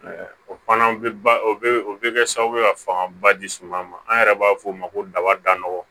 O fana bɛ o bɛ o bɛ kɛ sababu ye ka fangaba di suman ma an yɛrɛ b'a f'o ma ko daba danɔgɔ